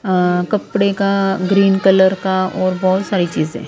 अ कपड़े का green colour का और बहुत सारी चीजें ।